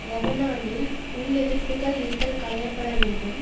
லெபனானில் உள் எதிர்ப்புக்கள் இருத்தல் களையப்படவேண்டும்